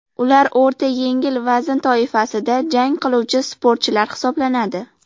Ular o‘rta-yengil vazn toifasida jang qiluvchi sportchilar hisoblanadi.